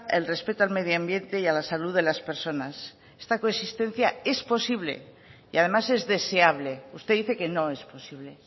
el respeto al medioambiente y a la salud de las personas esta coexistencia es posible y además es deseable usted dice que no es posible